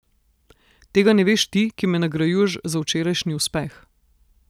Tega ne veš ti, ki me nagrajuješ za včerajšnji uspeh.